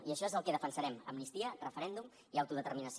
i això és el que defensarem amnistia referèndum i autodeterminació